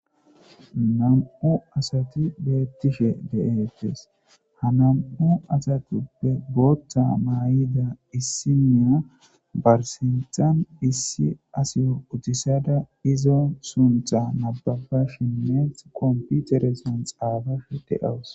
nam7u asati beettishe de7eettes ha namu asatuppe bootta maay7ida issiniya barsintan issi asiyo utisada izo suntha nababa shemmeth komputeres an xaabashe deawus